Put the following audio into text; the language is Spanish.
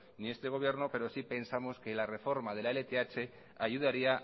ni este gobierno pero sí pensamos que la reforma de la lth ayudaría